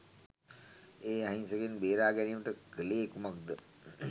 ඒ අහින්සකයින් බේරාගැනීමට කලේ කුමක්ද?